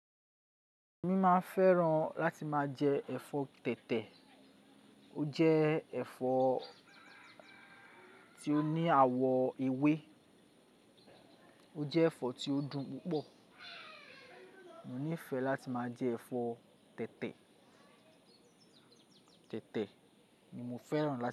Èmi máa fẹ́ràn láti máa jẹ ẹ̀fọ́ tètè. Ó jẹ́ ẹ̀fọ́ ti ó ní àwọ̀ ewé, ó jẹ́ ẹ̀fọ́ tí ó dùn púpọ̀. Mo nífẹ̀ẹ́ láti máa jẹ ẹ̀fọ́ tètè, tètè ni mo fẹ́ràn láti.